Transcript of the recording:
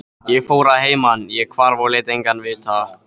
Ég fór að heiman, ég hvarf og lét engan vita.